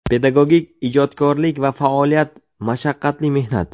Pedagogik ijodkorlik va faoliyat — mashaqqatli mehnat.